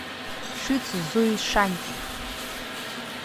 шицзуйшань